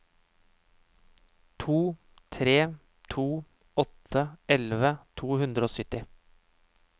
to tre to åtte elleve to hundre og sytti